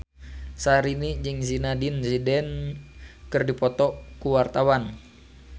Syahrini jeung Zidane Zidane keur dipoto ku wartawan